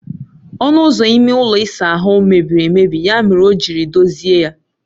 Onụ ụzọ ime ụlọ ịsa ahụ mebiri emebi ya mere ọ jiri dozie ya